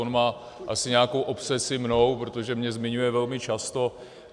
On má asi nějakou obsesi mnou, protože mě zmiňuje velmi často.